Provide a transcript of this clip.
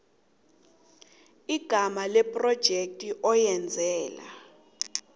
igama lephrojekhthi oyenzela